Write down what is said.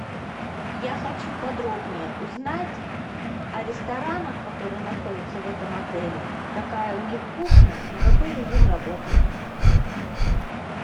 я хочу подробнее узнать о ресторанах которые находятся в этом отеле какая у них кухня и какой режим работы